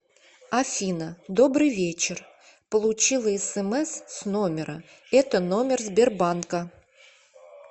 афина добрый вечер получила смс с номера это номер сбербанка